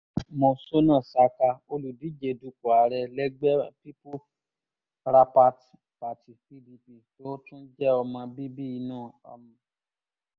monsónà saka olùdíje dupò ààrẹ lẹ́gbẹ́ peoples rapat party pdp tó tún jẹ́ ọmọ bíbí inú um